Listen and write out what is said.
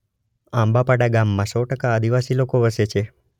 આંબાપાડા ગામમાં સો ટકા આદિવાસી લોકો વસે છે.